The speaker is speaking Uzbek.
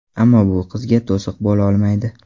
Ammo bu qizga to‘siq bo‘la olmaydi.